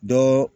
Dɔ